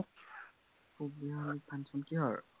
পূব বিহালীত function কিহৰ?